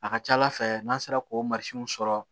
A ka ca ala fɛ n'an sera k'o sɔrɔ